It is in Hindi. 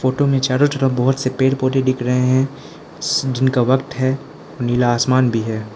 फोटो में चारो तरफ बहोत से पेड़ पौधे दिख रहे हैं दिन का वक्त है नीला आसमान भी है।